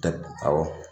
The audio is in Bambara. Awɔ